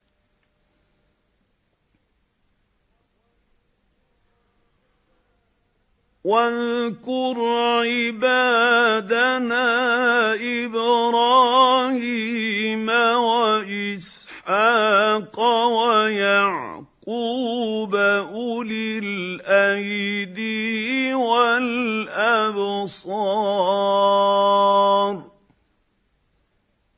وَاذْكُرْ عِبَادَنَا إِبْرَاهِيمَ وَإِسْحَاقَ وَيَعْقُوبَ أُولِي الْأَيْدِي وَالْأَبْصَارِ